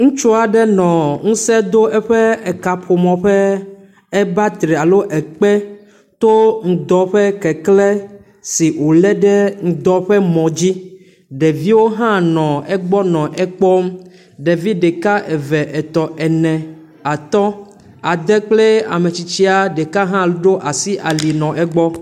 Ŋutsu aɖe nɔ ŋusẽ dom eƒe kaƒomɔ ƒe ebatari alo ekpe, to ŋudɔ ƒe keklẽ si wòlé ɖe ŋudɔ ƒe mɔ dzi, ɖeviwo hã nɔ egbɔ nɔ ekpɔm ɖevi ɖeka, eve, etɔ̃, ene, atɔ̃, ade kple ametsitsia ɖeka hã ɖo asi ali nɔ ekpɔm